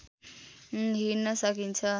हिँड्न सकिन्छ